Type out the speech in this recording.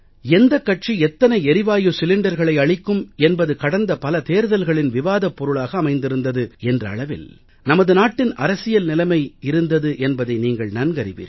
எந்தக் கட்சி எத்தனை எரிவாயு சிலிண்டர்களை அளிக்கும் என்பது கடந்த பல தேர்தல்களின் விவாதப் பொருளாக அமைந்திருந்தது என்ற அளவில் நமது நாட்டின் அரசியல் நிலைமை இருந்தது என்பதை நீங்கள் நன்கறிவீர்கள்